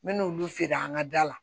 N men'olu feere an ka da la